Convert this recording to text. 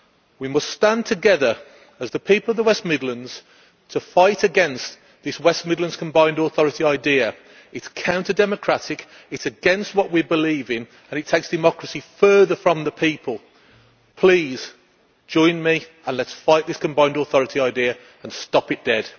We must stand together as the people of the West Midlands to fight against this West Midlands combined authority idea. It is counter-democratic, it is against what we believe in and it takes democracy further from the people. Please join me, and let us fight this combined authority idea and stop it dead.